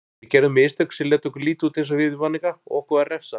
Við gerðum mistök sem létu okkur líta út eins og viðvaninga og okkur var refsað.